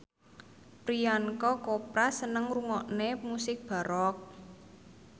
Priyanka Chopra seneng ngrungokne musik baroque